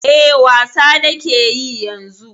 E, wasa na ke yi yanzu.